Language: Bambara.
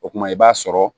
O kumana i b'a sɔrɔ